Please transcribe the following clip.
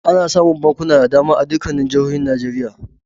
Ana samun bankuna da dama a dukkan jihohi Najeriya.